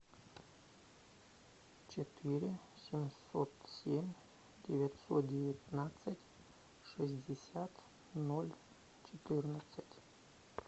четыре семьсот семь девятьсот девятнадцать шестьдесят ноль четырнадцать